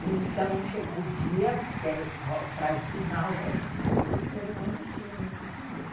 E então chegou o dia que era o prazo final da gente dar o dinheiro e nós não tínhamos esse dinheiro.